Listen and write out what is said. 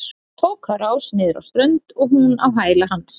Tók á rás niður á strönd og hún á hæla hans.